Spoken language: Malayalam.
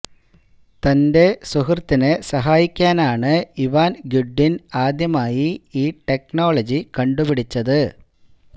തന്റെ സുഹൃത്തിനെ സഹായിക്കാനാണ് ഇവാന് ഗ്രിഡ്വിന് ആദ്യമായി ഈ ടെക്നോളനി കണ്ട് പിടിച്ചത്